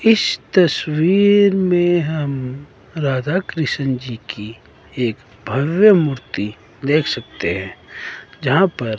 इस तस्वीर में हम राधा कृष्ण जी की एक भव्य मूर्ति देख सकते हैं जहां पर--